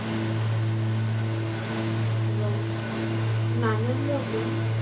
এবং নানান রকম